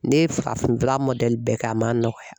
Ne ye farafinna bɛɛ kɛ, a ma nɔgɔya.